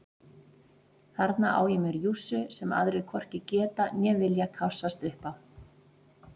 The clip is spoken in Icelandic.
Þarna á ég mér jússu sem aðrir hvorki geta né vilja kássast upp á.